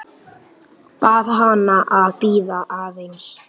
Bað hana að bíða aðeins.